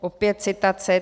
Opět citace.